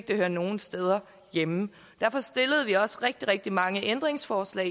det hører nogen steder hjemme derfor stillede vi også rigtig rigtig mange ændringsforslag